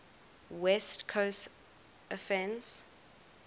west coast offense